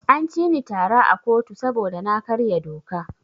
An cini tara a kotu saboda na karya doka.